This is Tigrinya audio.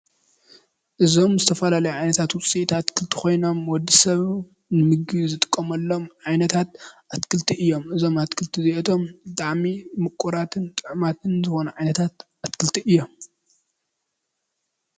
እዞም ዝተፈላለዩ ዓይነታት ዉጺኢታት ኣትክልቲ ኮይኖም ወዲሰብ ንምግቢ ዝጥቀመሎም ዓይነታት ኣትክልቲ እዮም፤ እዞም ኣትክልቲ እዚኣቶም ብጣዕሚ ምቁራትን ጥዑማትን ዝኮኑ ዓይነታት ኣትክልቲ እዮም ።